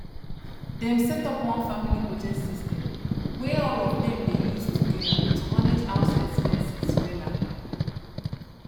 dem set up one family budget system wey all of dem dey use together to manage house expenses wella